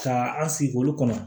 Ka an sigi olu kɔnɔ